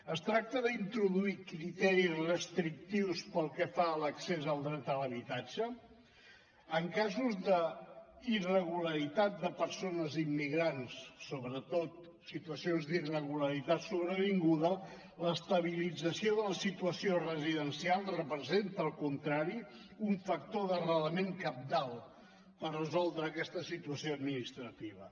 es tracta d’introduir criteris restrictius pel que fa a l’accés al dret a l’habitatge en casos d’irregularitat de persones immigrants sobretot situacions d’irregularitat sobrevinguda l’estabilització de la situació residencial representa al contrari un factor d’arrelament cabdal per resoldre aquesta situació administrativa